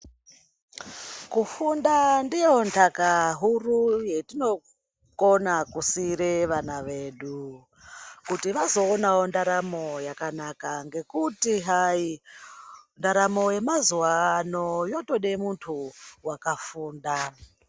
Kufunda ndiyo nhaka huru yatinokona kusiira vana vedu kuti vazoonawo ndaramo yakanaka ngekuti hai ndaramo yemazuwa anonyotode muntu wakafunda.